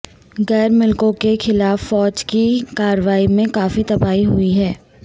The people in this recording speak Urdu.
غیر ملکیوں کے خلاف فوج کی کارروائی میں کافی تباہی ہوئی ہے